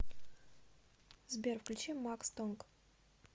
сбер включи макс тонг